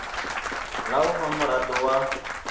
la u fha mirado ya